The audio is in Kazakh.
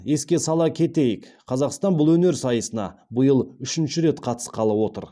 еске сала кетейік қазақстан бұл өнер сайысына биыл үшінші рет қатысқалы отыр